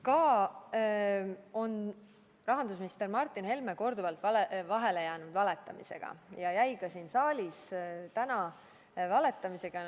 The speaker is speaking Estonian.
Samuti on rahandusminister Martin Helme korduvalt vahele jäänud valetamisega ja jäi ka siin saalis täna valetamisega vahele.